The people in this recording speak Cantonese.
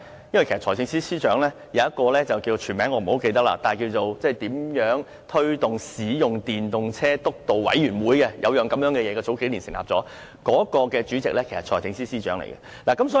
因為有一個我不太記得全名，是關於推動使用電動車輛督導委員會，政府於數年前成立了這麼一個組織，該委員會的主席便是財政司司長。